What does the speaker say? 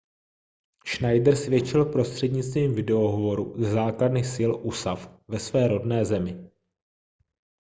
schneider svědčil prostřednictvím video hovoru ze základny sil usaf ve své rodné zemi